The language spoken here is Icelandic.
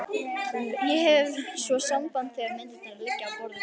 Ég hef svo samband þegar myndirnar liggja á borðinu.